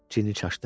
Ginni çaşdı.